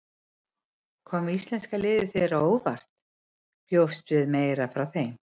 Kom íslenska liðið þér á óvart, bjóstu við meira frá þeim?